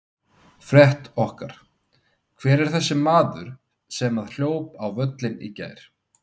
Frétt okkar: Hver er þessi maður sem að hljóp á völlinn í gær?